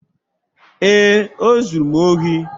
Ee, o zuru m ohi